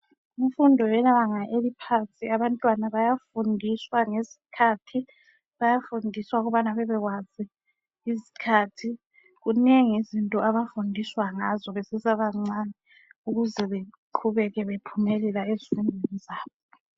Kunfundo yebanga eliphansi abantwana bayafundiswa ngezikhathi . Bayafundiswa ukubana bebekwazi izikhathi ,kunengi izinto abafundiswa ngazo besesebancani ukuze bequbeke bephumelela ezifundweni zabo.